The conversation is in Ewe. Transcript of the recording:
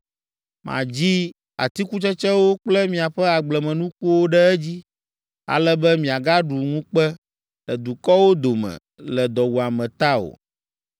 Madzi atikutsetsewo kple miaƒe agblemenukuwo ɖe edzi, ale be miagaɖu ŋukpe le dukɔwo dome le dɔwuame ta o.